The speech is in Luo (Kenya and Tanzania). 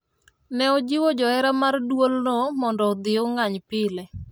ne ojiwo johera mar duolno modno odhi ong'any pile